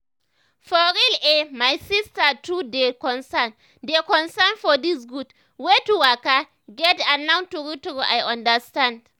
for real eh my sister too dey concern dey concern for dis gud wey to waka get and now true true i understand.